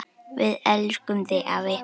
Við elskum þig afi!